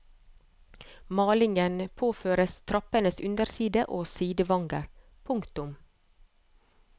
Malingen påføres trappens underside og sidevanger. punktum